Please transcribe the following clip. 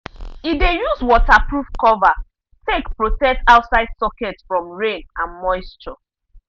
e dey use waterproof cover take protect outside socket from rain and moisture.